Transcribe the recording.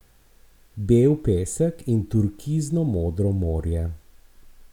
Bel pesek in turkizno modro morje?